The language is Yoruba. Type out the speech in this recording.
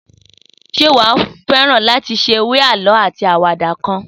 Sé wàá féran látí seré àlõ átí áwàdá kan?